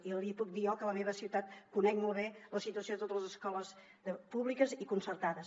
i li puc dir jo que a la meva ciutat conec molt bé la situació de totes les escoles públiques i concertades